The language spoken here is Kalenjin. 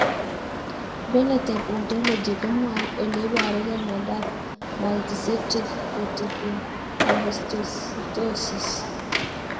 Phenotype ontology ko mwau ole iparukei miondop Multicentric reticulohistiocytosis.